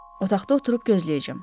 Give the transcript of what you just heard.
Otaqda oturub gözləyəcəm.